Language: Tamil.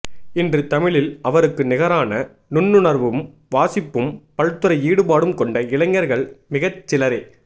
இன்று தமிழில் அவருக்கு நிகரான நுண்ணுணர்வும் வாசிப்பும் பல்துறை ஈடுபாடும் கொண்ட இளைஞர்கள் மிகச்சிலரே